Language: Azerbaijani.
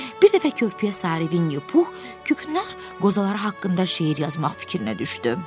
Bir dəfə körpüyə sarı Vinni Pux küknar qozaları haqqında şeir yazmaq fikrinə düşdü.